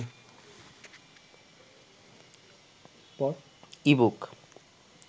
ebook